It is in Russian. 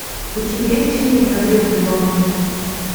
у тебя есть фильм на гребне волны